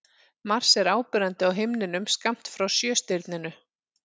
Mars er áberandi á himninum skammt frá Sjöstirninu.